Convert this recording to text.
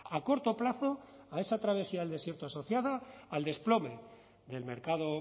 a corto plazo a esa travesía al desierto asociada al desplome del mercado